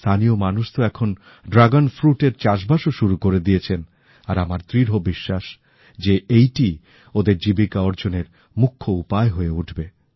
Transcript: স্থানীয় মানুষ তো এখন ড্রাগন ফ্রুটের চাষবাস ও শুরু করে দিয়েছেন আর আমার দৃঢ় বিশ্বাস যে এটি ওদের জীবিকা অর্জনের মুখ্য উপায় হয়ে উঠবে